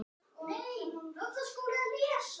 Hvíl í friði, elsku Elsa.